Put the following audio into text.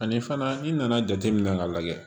Ani fana i nana jateminɛ k'a lajɛ